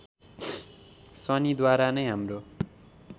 शनिद्वारा नै हाम्रो